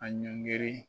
A ɲɔngiri